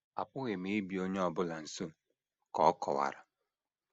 Apụghị m ịbịa onye ọ bụla nso, ” ka ọ kọwara.